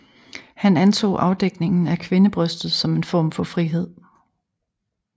Han anså afdækningen af kvindebrystet som en form for frihed